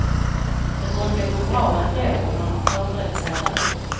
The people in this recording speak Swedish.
Det brukar gå bra ändå, om man förberett sig väl.